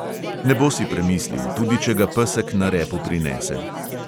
Ne bo si premislil, tudi če ga pesek na repu prinese.